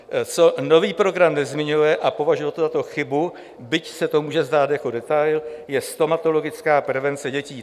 Co nový program nezmiňuje, a považuji to za chybu, byť se to může zdát jako detail, je stomatologická prevence dětí.